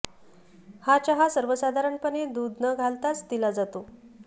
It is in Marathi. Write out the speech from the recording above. हा चहा सर्वसाधारणपणे दूध न घालताच दिला जातो